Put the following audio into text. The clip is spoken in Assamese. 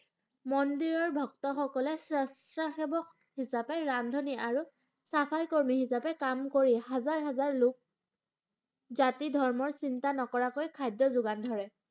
মন্দিৰৰ ভক্ত সকলে স্ৱস্ৱসেৱক হিসাপে ৰান্ধনী আৰু ছাফাই কৰ্মী হিচাপে কাম কৰি হাজাৰ হাজাৰ লোক জাতি ধৰ্মৰ চিন্তা নকৰাকৈ খাদ্যৰ যোগান ধৰে।